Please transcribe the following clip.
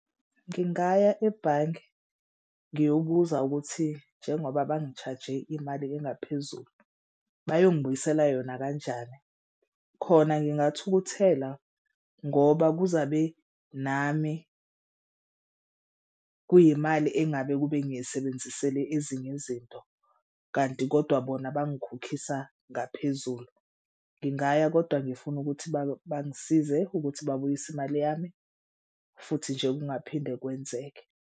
Ngingaya ebhange ngiyobuza ukuthi njengoba bangi-charge-e imali engaphezulu bayongibuyisela yona kanjani? Khona ngingathukuthela ngoba kuzabe nami kuyimali engabe kube ngiyisebenzisele ezinye izinto kanti kodwa bona bangikhokhisa ngaphezulu. Ngingaya kodwa ngifuna ukuthi bangisize ukuthi babuyise imali yami futhi nje kungaphinde kwenzeke.